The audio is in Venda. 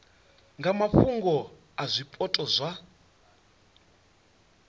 nga mafhungo a zwipotso zwa